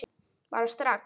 Bara strax.